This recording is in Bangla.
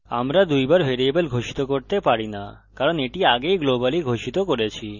আমরা দুইবার ভ্যারিয়েবল ঘোষিত করতে পারি না কারণ এটি আগেই globally ঘোষিত করেছি